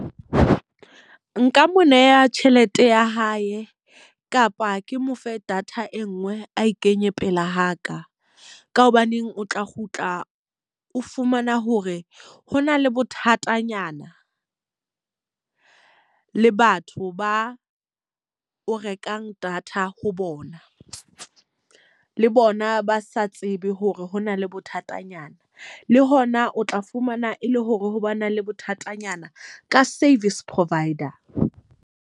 Nka mo neha tjhelete ya hae, kapa ke mo fe data e nngwe a e kenye pela ha ka. Ka hobaneng o tla kgutla o fumana hore ho na le bothatanyana le batho ba o rekang data ho bona. Le bona ba sa tsebe hore ho na le bothatanyana. Le hona o tla fumana e le hore ha ba na le bothatanyana ka service provider.